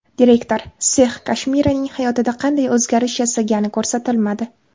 Direktor, sex Kashmiraning hayotida qanday o‘zgarish yasagani ko‘rsatilmadi.